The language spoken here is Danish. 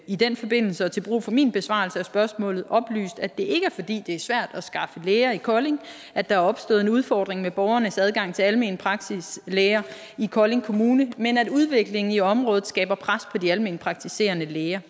i den forbindelse og til brug for min besvarelse af spørgsmålet oplyst at det ikke er fordi det er svært at skaffe læger i kolding at der er opstået en udfordring med borgernes adgang til almenpraktiserende læger i kolding kommune men at udviklingen i området skaber pres på de almenpraktiserende læger